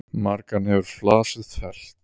Margan hefur flasið fellt.